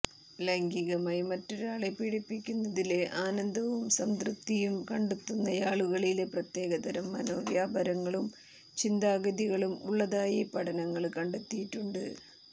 ലൈംഗികമായി മറ്റൊരാളെ പീഡിപ്പിക്കുന്നതില് ആനന്ദവും സംതൃപ്തിയും കണ്ടെത്തുന്നയാളുകളില് പ്രത്യേകതരം മനോവ്യാപാരങ്ങളും ചിന്താഗതികളും ഉള്ളതായി പഠനങ്ങള് കണ്ടെത്തിയിട്ടുണ്ട്